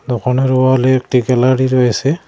দোকানের ওয়ালে একটি গ্যালারি রয়েসে।